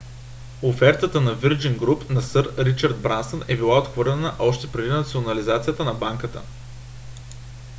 офертата на virgin group на сър ричард брансън е била отхвърлена още преди национализацията на банката